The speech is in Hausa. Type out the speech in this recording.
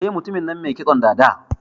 Eh, Mutumin nan mai kitson dada.